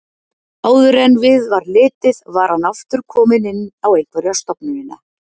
Áður en við var litið var hann aftur kominn inn á einhverja stofnunina.